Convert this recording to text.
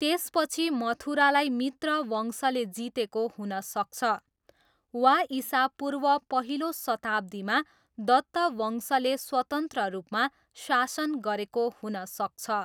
त्यसपछि मथुरालाई मित्र वंशले जितेको हुन सक्छ, वा इसापूर्व पहिलो शताब्दीमा दत्त वंशले स्वतन्त्र रूपमा शासन गरेको हुन सक्छ।